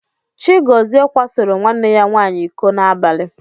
Chigọzie kwasoro nwanne ya nwaanyị iko n'abalị.